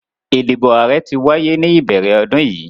Idibo aarẹ ti waye ni ibẹrẹ ọdun yii